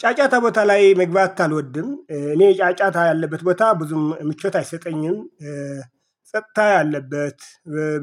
ጫጫታ ቦታ ላይ መግባት አልወድም። እኔ ጫጫታ ያለበት ቦታ ብዙም ምቾት አይሰጠኝም። ጸጥታ ያለበት